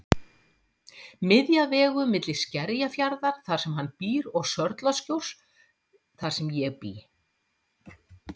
Miðja vegu milli Skerjafjarðar þar sem hann býr og Sörlaskjóls þar sem ég bý.